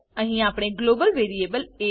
અહી આપણે global variable એ